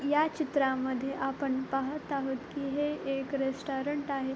या चित्रामध्ये आपण पाहत आहोत की हे एक रेस्टॉरंट आहे.